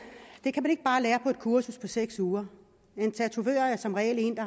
det kan man ikke bare lære på et kursus på seks uger en tatovør er som regel en